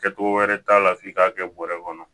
Kɛcogo wɛrɛ t'a la f'i k'a kɛ bɔrɛ kɔnɔ